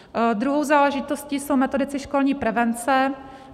Druhou záležitostí jsou metodici školní prevence.